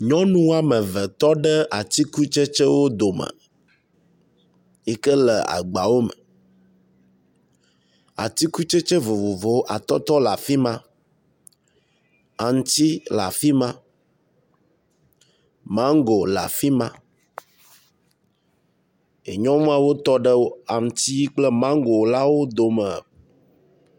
Nyɔnu ame ave tɔ ɖe atikutsetsewo dome yi ke la agbawo me. Atikutsetse vovovowo atɔtɔ le afi ma, aŋtsi le afi ma, mango le afi ma e nyɔnuawo tɔ ɖe aŋtsi kple mango la wo dome.